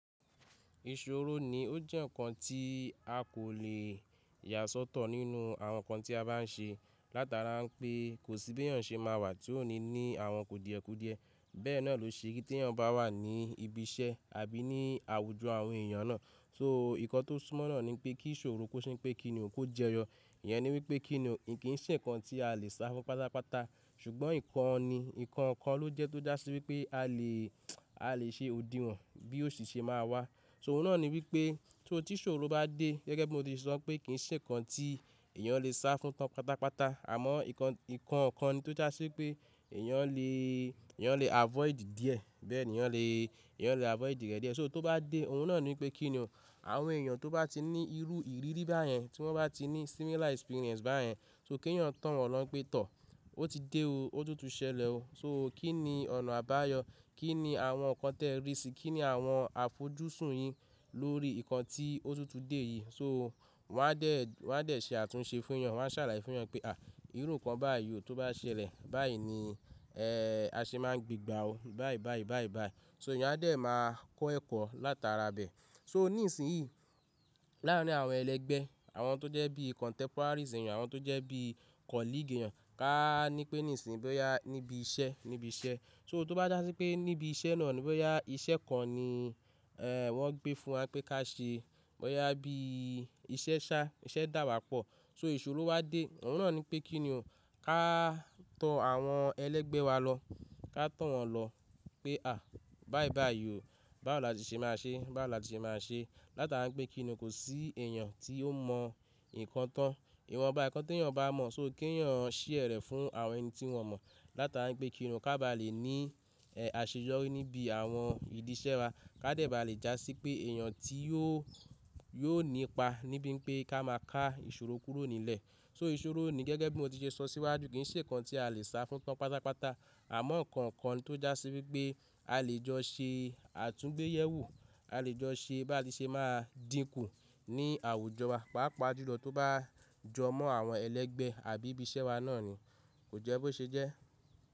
Ìṣòro ni ó jẹ́ ǹkan tí a kò lè yà sọ́tọ̀ nínú àwọn ǹkan tí a bá ń ṣe. Látara pé kò sí bí ẹ̀yàn ṣe máa wà tí ó ní ní àwọn kùdìẹ̀kùdìẹ. Bẹ́ẹ̀ náà ló ṣe pé tí ẹ̀yàn bá wà ní ibi iṣẹ́ àbí ní àwùjọ àwọn èèyàn náà, so ìkọ́ tó súmọ́ náà ni pé kí ìṣòro kó ṣín pé kí ni òun kó jẹyọ. Ìyẹn ni wípé kí ni òun, kì ń ṣe ǹkan tí a lè sá fún pátápátá, ṣùgbọ́n ǹkan ni ǹkan kan ló jẹ́ tó jásí wípé a lè, a lè ṣe òdinwọ̀n bí ó ṣe ṣe máa wà. So oun náà ni wípé tó tí ìṣòro bá dé gẹ́gẹ́ bí mo ti sọ pé kì ń ṣe ǹkan tí èèyàn lè sá fún tán pátápátá, àmọ́ ǹkan, ǹkan kan ni tó jásí pé èèyàn lè, èèyàn lè avoid díẹ̀, bẹ́ẹ̀ ni èèyàn lè, èèyàn lè avoid rẹ̀ díẹ̀. So tó bá dé oun náà ni wípé kí ni ò, àwọn èèyàn tó bá ti ní irú ìrírí báyẹn, tí wọ́n bá ti ní similar experience báyẹn, so kí ẹ̀yàn tán wọn lọ pé tọ̀, ó ti dé o, ó túnti ṣẹlẹ̀ o. So kí ni ọ̀nà àbáyọ, kí ni àwọn ǹkan tẹ rí sì, kí ni àwọn àfojúsùn yín lórí ǹkan tí ó túntù dé yìí. So wọ́n á dẹ̀, wọ́n á dẹ̀ ṣe àtúnṣe fún yan, wọ́n á sàlàye fún yan pé à írú ǹkan báyìí o tó bá ṣẹlẹ̀ báyìí ni, ẹ́ ẹ́ a ṣe máa ń gbígba o báyìí báyìí báyìí báyìí. So èèyàn á dẹ̀ máa kọ́ ẹ̀kọ́ látara bẹ̀. So ní ìsìn yìí, láàárín àwọn ẹlẹgbẹ́, àwọn tó jẹ́ bí contemporaries èèyàn, àwọn tó jẹ́ bí colleague èèyàn, ká ní pé nísìnyí bóyá níbi iṣẹ́, níbi iṣẹ́. So tó bá jásí pé níbi iṣẹ́ náà ni bóyá iṣẹ́ kan ni, ẹ́ ẹ́ wọ́n gbé fún wa pé ká ṣe, bóyá bí iṣẹ́ ṣá, iṣẹ́ dà wá pọ̀. So ìṣòro wá dé oun náà ni pé kí ni ò ká tọ àwọn ẹlẹgbẹ́ wa lọ, ká tọ̀ wọn lọ pé à báì báì yóò, bá la ti ṣe máa ṣe, bá la ti ṣe máa ṣe. Látara pé kí ni kò sí èèyàn tí ó mọ ǹkan tán. Ìwọ mọ bá ẹ̀ẹ̀kan tí ẹ̀yàn bá mọ̀, so kí ẹ̀yàn ṣí ẹ̀ rẹ̀ fún àwọn ẹni tí wọn mọ̀. Látara pé kí ni ká ba lè ní, ẹ́ ẹ́ àṣeyọrí níbi àwọn ìdí iṣẹ́ wa, ká dẹ̀ bá lè jásí pé èèyàn tí yóò, yóò nípa níbí pé ká máa ká ìṣòro kúrò nílẹ̀. So ìṣòro ni gẹ́gẹ́ bí mo ti ṣe sọ síwájú kì ń ṣe ǹkan tí a lè sá fún tán pátápátá, àmọ́ ǹkan kan tó jásí wípé a lè jọ ṣe àtúnbẹyẹ̀wò, a lè jọ ṣe bá la ti ṣe máa dìnkù ní àwùjọ wa, pàápàá ju lọ tó bá jọ mọ́ àwọn ẹlẹgbẹ́ àbí ibi iṣẹ́ wa náà ni. Kò jẹ́ bó ṣe jẹ́.